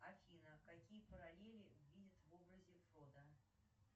афина какие параллели видят в образе фото